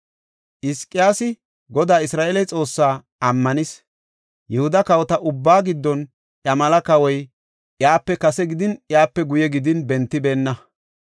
Hizqiyaasi Godaa Isra7eele Xoossaa ammanis; Yihuda kawota ubbaa giddon iya mela kawoy iyape kase gidin, iyape guye gidin bentibeenna.